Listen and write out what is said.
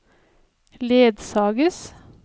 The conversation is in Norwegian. ledsages